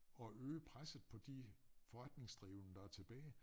At øge presset på de forretningsdrivende der tilbage